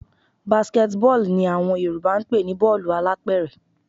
Basket ball ni àwọn Yorùbá ń pè ní bọ́ọ̀lù alápẹ̀rẹ̀